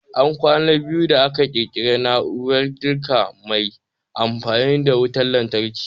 An kwana biyu da aka ƙirƙiri na'urar girki mai amfani da wutan lantarki